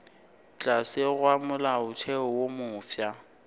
tlase ga molaotheo wo mofsa